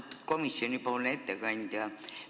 Austatud komisjoni ettekandja!